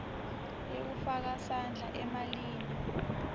yekufaka sandla emalini